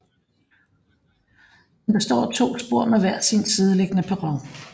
Den består af to spor med hver sin sideliggende perron